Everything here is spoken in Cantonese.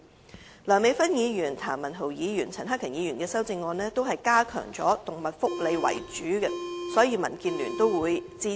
至於梁美芬議員、譚文豪議員和陳克勤議員的修正案，全部均以加強動物福利為主，所以民建聯都會予以支持。